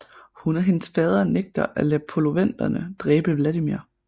Hun og hendes fader nægter at lade poloveterne dræbe Vladimir